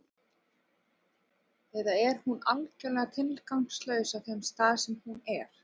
Eða er hún algjörlega tilgangslaus á þeim stað sem hún er?